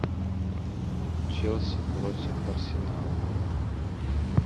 челси против арсенала